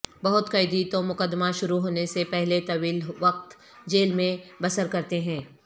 بہت قیدی تو مقدمہ شروع ہونے سے پہلے طویل وقت جیل میں بسر کرتے ہیں